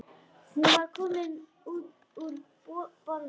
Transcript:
Hún var komin úr bolnum.